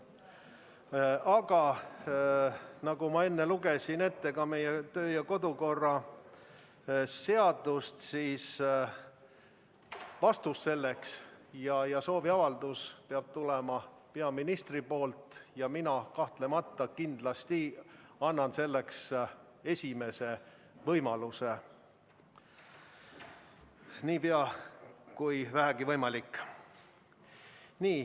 Aga nagu ma enne ette lugesin meie kodu- ja töökorra seadusest, sooviavaldus peab tulema peaministrilt, ja mina kahtlemata annan selleks võimaluse nii ruttu kui võimalik.